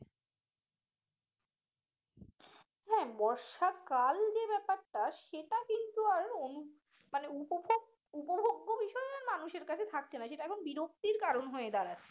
হ্যাঁ বর্ষাকাল যে ব্যাপারটা সেটা কিন্তু আর অনু মানে উপভোগ উপভোগ বিষয়ে মানুষের কাছে থাকছে না সেটা এখন বিরক্তির কারণ হয়ে দাঁড়াচ্ছে